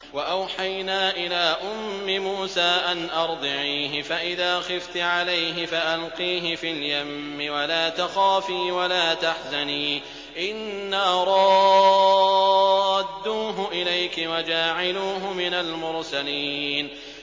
وَأَوْحَيْنَا إِلَىٰ أُمِّ مُوسَىٰ أَنْ أَرْضِعِيهِ ۖ فَإِذَا خِفْتِ عَلَيْهِ فَأَلْقِيهِ فِي الْيَمِّ وَلَا تَخَافِي وَلَا تَحْزَنِي ۖ إِنَّا رَادُّوهُ إِلَيْكِ وَجَاعِلُوهُ مِنَ الْمُرْسَلِينَ